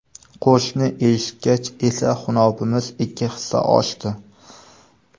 Qo‘shiqni eshitgach esa xunobimiz ikki hissa oshdi.